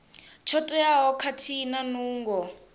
tsho teaho khathihi na nungo